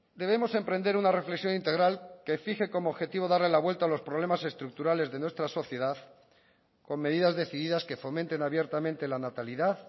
debemos emprender una reflexión integral que fije como objetivo darle la vuelta a los problemas estructurales de nuestra sociedad con medidas decididas que fomenten abiertamente la natalidad